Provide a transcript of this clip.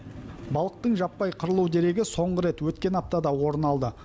балықтың жаппай қырылу дерегі соңғы рет өткен аптада орын алды